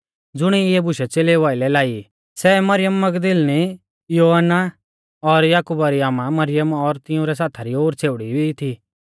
ज़ुणिऐ इऐ बुशै च़ेलेउ आइलै लाई सै मरियम मगदलीनी योअन्ना और याकुबा री आमा मरियम और तिंउरै साथा री ओर छ़ेउड़ी भी थी